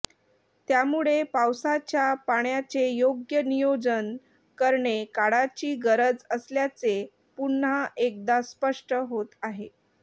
त्यामुळे पावसाच्या पाण्याचे योग्य नियोजन करणे काळाची गरज असल्याचे पुन्हा एकदा स्पष्ट होत आहे